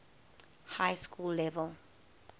high school level